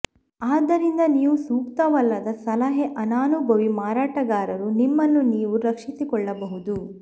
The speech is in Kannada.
ಆದ್ದರಿಂದ ನೀವು ಸೂಕ್ತವಲ್ಲದ ಸಲಹೆ ಅನನುಭವಿ ಮಾರಾಟಗಾರರು ನಿಮ್ಮನ್ನು ನೀವು ರಕ್ಷಿಸಿಕೊಳ್ಳಬಹುದು